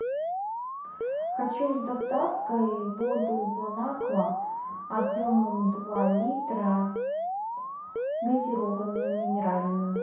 хочу с доставкой воду бонаква объемом два литра газированную минеральную